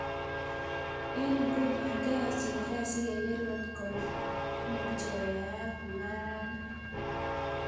Eng nguno kiyae chigilet sikeker kotko muchi koyayak mungaret ni.